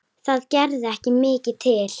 Það gerði ekki mikið til.